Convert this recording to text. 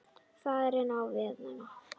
Farin á veiðar.